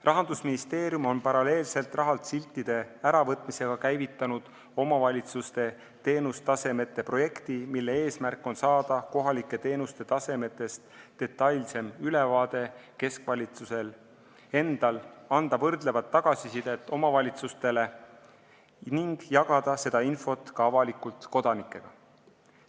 Rahandusministeerium on paralleelselt rahalt siltide äravõtmisega käivitanud omavalitsuste teenustasemete projekti, mille eesmärk on see, et keskvalitsus saaks kohalike teenuste tasemest detailsema ülevaate, anda võrdlevat tagasisidet omavalitsustele ning jagada seda infot avalikult kodanikega.